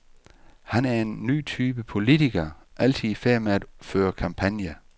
Han er en ny type politiker, altid i færd med at føre kampagne.